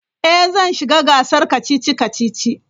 Ee, zan shiga gasar kacici-kacici.